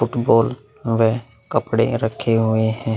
Football व कपड़े रखे हुए है।